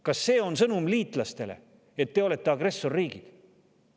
Kas see on liitlastele sõnum, et te olete agressorriigid?